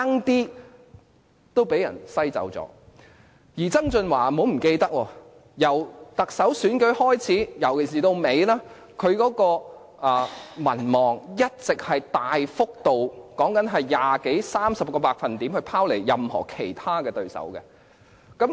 大家不要忘記，曾俊華由參與特首選舉開始，尤其是到最後階段，他的民望一直大幅拋離其他對手，幅度是二十多三十個百分比。